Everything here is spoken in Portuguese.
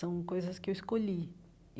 São coisas que eu escolhi.